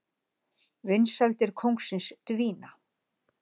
Vinsældir kóngsins dvína